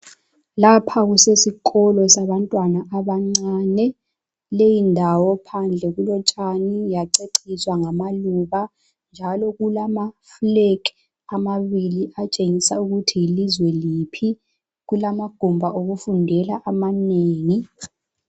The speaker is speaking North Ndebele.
Lapha kusesikolo sabantwana abancane. Leyindawo phandle kulotshani yaceciswa ngamaluba njalo kulamaflegi amabili atshengisa ukuthi yilizwe liphi. Kulamagumbi okufundela amanengi.